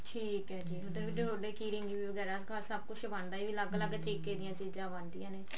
ਠੀਕ ਹੈ ਜੀ key ring ਵਗੇਰਾ ਸਭ ਕੁਛ ਬਣਦਾ ਅਲੱਗ ਲੱਗ ਤਰੀਕੇ ਦੀਆਂ ਚੀਜ਼ਾਂ ਬਣਦੀਆਂ ਨੇ